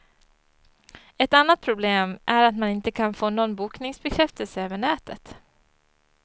Ett annat problem är att man inte kan få någon bokningsbekräftelse över nätet.